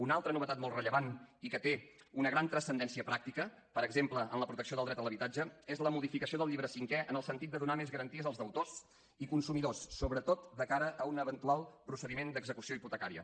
una altra novetat molt rellevant i que té una gran transcendència pràctica per exemple en la protecció del dret a l’habitatge és la modificació del llibre cinquè en el sentit de donar més garanties als deutors i consumidors sobretot de cara a un eventual procediment d’execució hipotecària